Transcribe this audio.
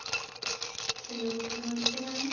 hello namaste mam